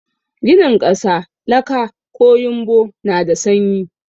Ginin ƙasa, laka ko yumbo na da sanyi.